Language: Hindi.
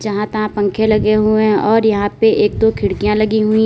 यहां तहां पंखे लगे हुए हैं और यहां पे एक दो खिड़कियां लगी हुई हैं।